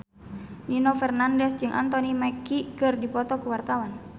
Nino Fernandez jeung Anthony Mackie keur dipoto ku wartawan